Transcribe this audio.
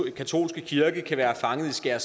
har